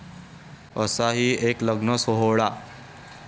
...असा ही एक लग्नसोहळा